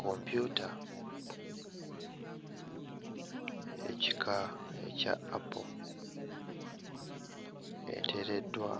Kompyuta ekika ekya Apple eteereddwa